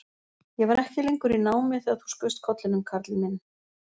Ég var ekki lengur í námi þegar þú skaust upp kollinum, Karl minn